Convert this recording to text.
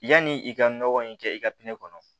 Yanni i ka nɔgɔ in kɛ i ka pinɛ kɔnɔ